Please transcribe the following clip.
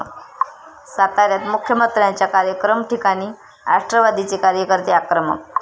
साताऱ्यात मुख्यमंत्र्यांच्या कार्यक्रम ठिकाणी राष्ट्रवादीचे कार्यकर्ते आक्रमक